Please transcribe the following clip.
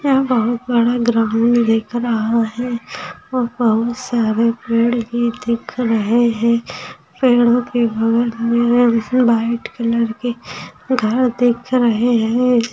यह बहूत बड़ा ग्राउंड दिख रहा है और बहुत सारे पेड़ भी दिख रहें हैं। पेड़ों के में वाइट कलर के घर दिख रहें हैं।